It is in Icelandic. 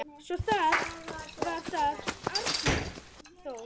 Svo var það Arnþór.